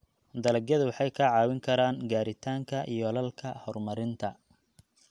Dalagyadu waxay kaa caawin karaan gaaritaanka yoolalka horumarinta.